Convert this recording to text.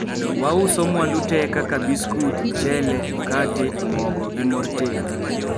"Wauso mwandu te kaka biskut, mchele, mkate, mogo, gi mor tedo."